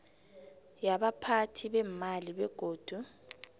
yabaphathi beemali begodu